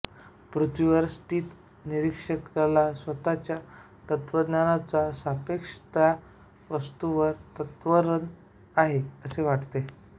पृथ्वीवर स्थित निरीक्षकाला स्वतःच्या त्वरणाच्या सापेक्ष त्या वस्तूवर त्वरण आहे असे वाटते